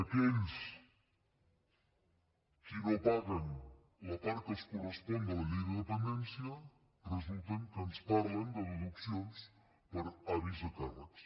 aquells qui no paguen la part que els correspon de la llei de dependència resulta que ens parlen de deduccions per avis a càrrecs